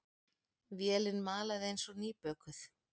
Vélin malaði eins og nýbökuð.